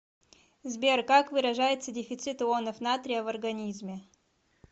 сбер как выражается дефицит ионов натрия в организме